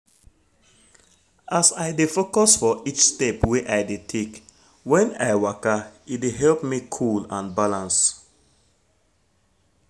as i dey focus for each step wey i dey take when i waka e dey help me cool and balance